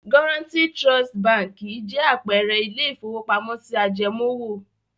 Guaranty Trust Báńkì jẹ́ àpẹẹrẹ ilé-ìfowópamọ́sí ajẹmoówò.